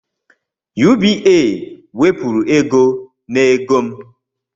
UBA wepuru ego n'ego m